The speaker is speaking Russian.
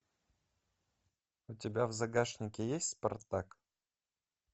у тебя в загашнике есть спартак